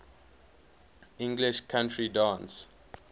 english country dance